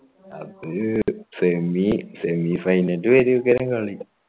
അത് semi semi final വരെയൊക്കെയായിരം കളി